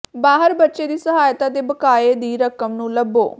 ਬਾਹਰ ਬੱਚੇ ਦੀ ਸਹਾਇਤਾ ਦੇ ਬਕਾਏ ਦੀ ਰਕਮ ਨੂੰ ਲੱਭੋ